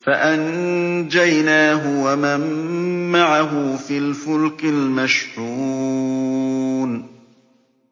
فَأَنجَيْنَاهُ وَمَن مَّعَهُ فِي الْفُلْكِ الْمَشْحُونِ